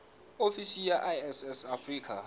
ofisi ya iss ya afrika